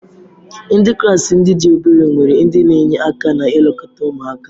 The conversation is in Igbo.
Ndị klaasị ndị dị obere nwere ndị na-enye aka na-elekọta ụmụaka.